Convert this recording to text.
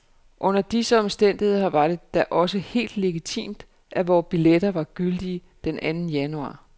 Under disse omstændigheder var det da også helt legitimt, at vore billetter var gyldige den anden januar.